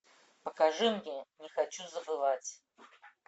покажи мне не хочу забывать